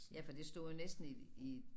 Ja for det stod jo næsten i i